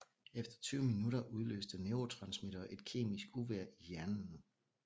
Efter tyve minutter udløste neurotransmittere et kemisk uvejr i hjernen